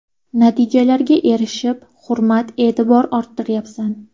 Natijalarga erishib, hurmat-e’tibor orttiryapsan.